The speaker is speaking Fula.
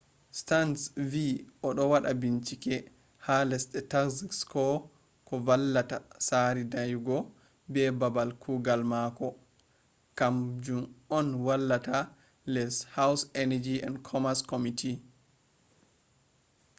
stearns vi o do wada binchike ha lesde taxes ko do vanlita sari dayugo ha babal kugal mako ha ,kam jun on wani les house energy and commerce committee